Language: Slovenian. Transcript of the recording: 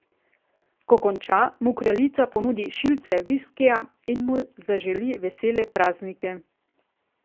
Ko konča, mu kraljica ponudi šilce viskija in mu zaželi vesele praznike.